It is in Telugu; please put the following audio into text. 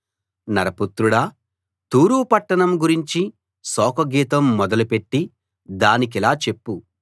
నరపుత్రుడా తూరు పట్టణం గురించి శోకగీతం మొదలు పెట్టి దానికిలా చెప్పు